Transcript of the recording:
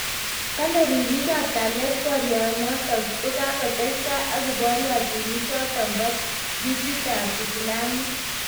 Kalee ripiik ap kalyet poryoo notok kokatestai ak kiporyotinik chotok poo ditit ap isilamiek